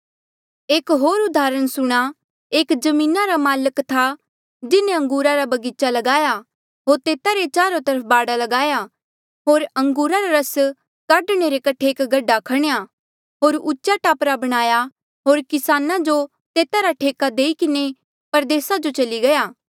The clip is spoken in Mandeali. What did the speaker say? एक होर उदाहरण सुणां एक जमीना रा माल्क था जिन्हें अंगूरा रा बगीचा ल्गाया होर तेता रे चारो तरफ बाड़ ल्गाया होर अंगूरा रा रस काढणे रे कठे एक गड्ढा खणेया होर उचा टापरा बणाया होर किसान जो तेता रा ठेका देई किन्हें परदेसा जो चली गया